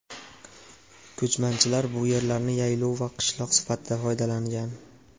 Ko‘chmanchilar bu yerlarni yaylov va qishlov sifatida foydalangan.